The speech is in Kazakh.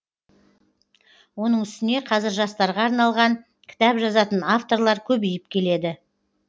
оның үстіне қазір жастарға арналалған кітап жазатын авторлар көбейіп келеді